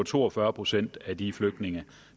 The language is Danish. to og fyrre procent af de flygtninge